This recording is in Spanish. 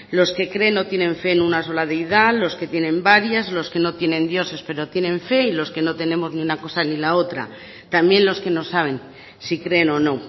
los que creen o tienen fe en una sola deidad los que tienen varias los que no tienen dioses pero tienen fe y los que no tenemos ni una cosa ni la otra también los que no saben si creen o no